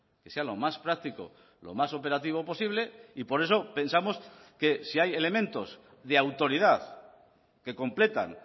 que sea lo más práctico lo más operativo posible y por eso pensamos que si hay elementos de autoridad que completan